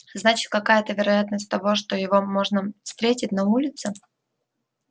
значит какая то вероятность того что его можно встретить на улице